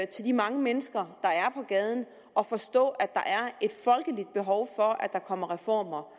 til de mange mennesker der er på gaden og forstå at der er et folkeligt behov for at der kommer reformer